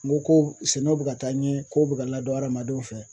N ko ko sɛnɛw bɛ ka taa ɲɛ kow bɛ ka ladŋn adamadenw fɛ